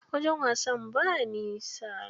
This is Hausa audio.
Wajen wasan ba nisa.